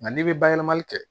Nka n'i bɛ bayɛlɛmali kɛ